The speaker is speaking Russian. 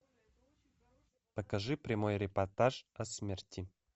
покажи прямой репортаж о смерти